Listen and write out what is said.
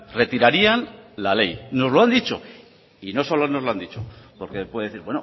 retirarían la ley nos lo han dicho y no solo nos lo han dicho porque puede decir